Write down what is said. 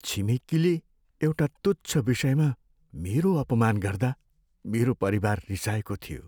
छिमेकीले एउटा तुच्छ विषयमा मेरो अपमान गर्दा मेरो परिवार रिसाएको थियो।